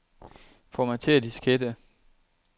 Formatér diskette.